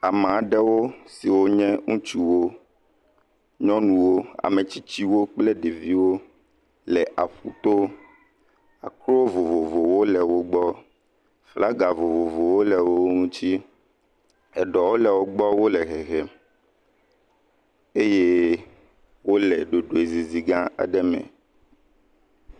Ame aɖewo siwo nye ŋutsuwo, nyɔnuwo kple ɖeviwo le aƒuto, akrowo vovovowo le wo gbɔ, flaga vovovowo le wo ŋuti. Eɖɔwo le wo gbɔ wole hehem eyewole ɖoɖoezizi gã aɖe me.